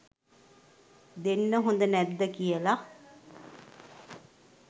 දෙන්න හොඳ නැද්ද කියල